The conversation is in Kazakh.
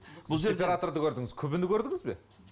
сеператорды көрдіңіз күбіні көрдіңіз бе